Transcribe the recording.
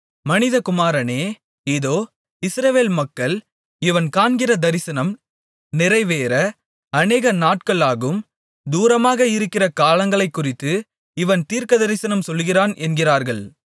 மனிதகுமாரனே இதோ இஸ்ரவேல் மக்கள் இவன் காண்கிற தரிசனம் நிறைவேற அநேக நாட்கள் ஆகும் தூரமாக இருக்கிற காலங்களைக்குறித்து இவன் தீர்க்கதரிசனம் சொல்லுகிறான் என்கிறார்கள்